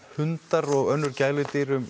hundar og önnur gæludýr um